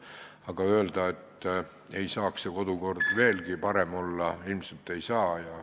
Aga öelda, et kodukord ei saaks veelgi parem olla, ilmselt ei saa.